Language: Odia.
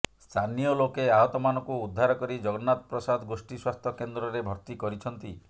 ସ୍ଥାନୀୟ ଲୋକେ ଆହତମାନଙ୍କୁ ଉଦ୍ଧାର କରି ଜଗନ୍ନାଥପ୍ରସାଦ ଗୋଷ୍ଠୀ ସ୍ୱାସ୍ଥ୍ୟ କେନ୍ଦ୍ରରେ ଭର୍ତ୍ତି କରିଛନ୍ତି